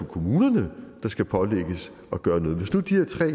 kommunerne der skal pålægges at gøre noget hvis nu de her tre